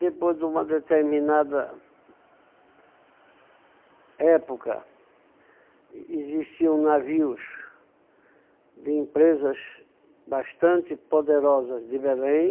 Depois de uma determinada época, existiam navios de empresas bastante poderosas de Belém,